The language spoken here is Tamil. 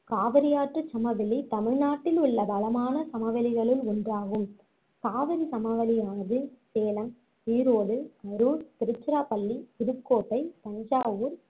காவிரி ஆற்றுச் சமவெளி தமிழ்நாட்டிலுள்ள வளமான சமவெளிகளுள் ஒன்றாகும் காவிரி சமவெளியானது சேலம், ஈரோடு, கரூர், திருச்சிராப்பள்ளி, புதுக்கோட்டை, தஞ்சாவூர்